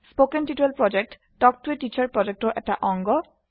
কথন শিক্ষণ প্ৰকল্প তাল্ক ত a টিচাৰ প্ৰকল্পৰ এটা অংগ